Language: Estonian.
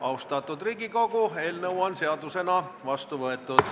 Austatud Riigikogu, eelnõu on seadusena vastu võetud.